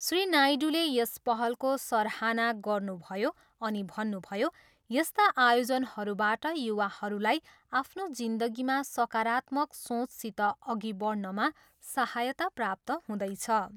श्री नायडूले यस पहलको सराहना गर्नुभयो अनि भन्नुभयो, यस्ता आयोजनहरूबाट युवाहरूलाई आफ्नो जिन्दगीमा सकारात्मक सोचसित अघि बढ्नमा सहायता प्राप्त हुदैछ।